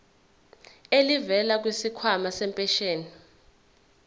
elivela kwisikhwama sempesheni